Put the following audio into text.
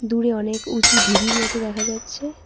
দূরে অনেক উঁচু ঢিবির মতো দেখা যাচ্ছে।